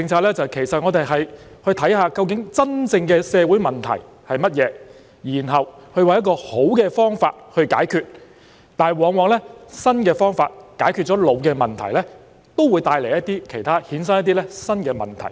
便是我們要看清楚真正的社會問題是甚麼，然後找出一個好的辦法解決；但往往新方法解決了老問題，也會衍生一些新的問題。